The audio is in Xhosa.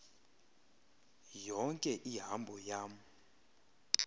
yonke ihambo yam